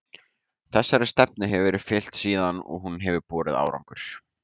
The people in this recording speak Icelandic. Þessari stefnu hefur verið fylgt síðan og hún hefur borið árangur.